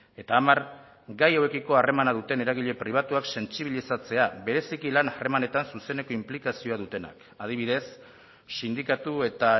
eta hamar gai hauekiko harremana duten eragile pribatuak sentsibilizatzea bereziki lan harremanetan zuzeneko inplikazioa dutenak adibidez sindikatu eta